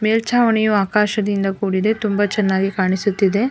ಮೇಲ್ಚಾವಣಿಯು ಆಕಾಶದಿಂದ ಕೂಡಿದೆ ತುಂಬ ಚೆನ್ನಾಗಿ ಕಾಣಿಸುತ್ತಿದೆ.